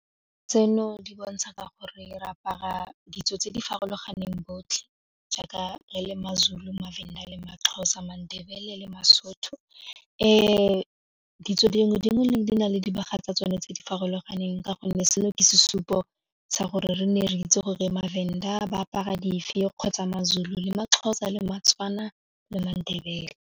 Tseno di bontsha ka gore re apara ditso tse di farologaneng botlhe jaaka re le maZulu, maVenda le maXhosa, maNdebele le maSotho, ditso dingwe le dingwe di na le dibaga tsa tsone tse di farologaneng ka gonne seno ke sesupo sa gore re nne re itse gore maVenda ba apara dife kgotsa maZulu le maXhosa le maTswana le maNdebele.